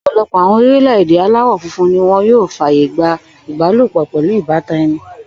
Ò̩pò̩lo̩pò̩ àwo̩n orílè̩-èdè aláwò̩ funfun ni yóò fàyè gba ìbálòpò̩ pè̩lú ìbátan e̩ni